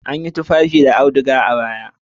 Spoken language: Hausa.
An yi tufafi da auduga a baya.